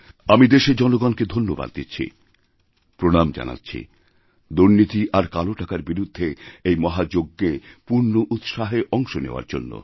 আমি দেশের জনগণকে ধন্যবাদ দিচ্ছিপ্রণাম জানাচ্ছি দুর্নীতি আর কালো টাকার বিরুদ্ধে এই মহাযজ্ঞে পূর্ণ উৎসাহে অংশনেওয়ার জন্য